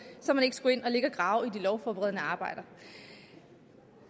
så man ikke skulle ind og grave i de lovforberedende arbejder